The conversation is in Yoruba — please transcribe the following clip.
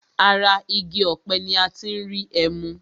Ara igi ọ̀pẹ ní a tí n rí ẹmu.